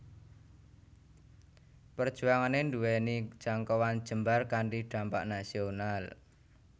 Perjuangané nduwèni jangkauan jembar kanthi dhampak nasional